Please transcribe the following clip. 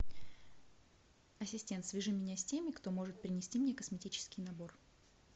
ассистент свяжи меня с теми кто может принести мне косметический набор